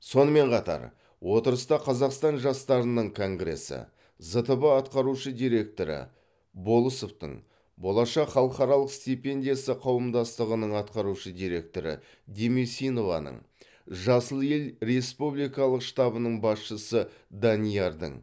сонымен қатар отырыста қазақстан жастарының конгресі зтб атқарушы директоры болысовтың болашақ халықаралық стипендиясы қауымдастығының атқарушы директоры демесинованың жасыл ел республикалық штабының басшысы даниярдың